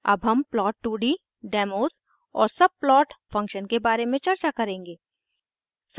अब हम प्लॉट2d डेमोज़ demos और सबप्लॉट subplot फंक्शन के बारे में चर्चा करेंगे